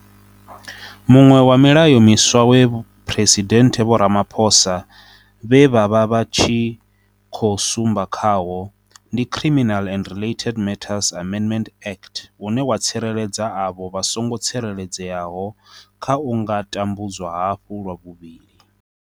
Muṅwe wa milayo miswa we Phresidennde Vho Ramaphosa vha vha vha tshi khou sumba khawo, ndi Criminal and Related Matters Amendment Act une wa tsireledza avho vha songo tsireledzeaho kha u nga tambudzwa hafhu lwa vhuvhili.